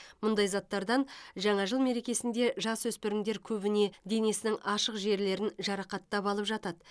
мұндай заттардан жаңа жыл мерекесінде жасөспірімдер көбіне денесінің ашық жерлерін жарақаттап алып жатады